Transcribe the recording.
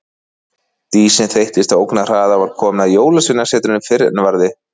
Dísin þeyttist á ógnarhraða og var komin að Jólasveinasetrinu fyrr en varði.